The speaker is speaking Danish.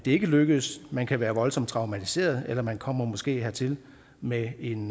ikke lykkes man kan være voldsomt traumatiseret eller man kommer måske hertil med en